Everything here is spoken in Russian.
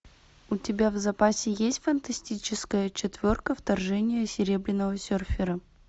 у тебя в запасе есть фантастическая четверка вторжение серебряного серфера